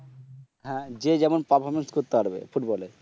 হ্যাঁ যে যেমন পারফরমেন্স করতে পারবে ফুটবল এ